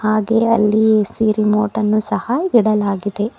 ಹಾಗೆ ಅಲ್ಲಿ AC remote ಅನ್ನು ಸಹ ಇಡಲಾಗಿದೆ.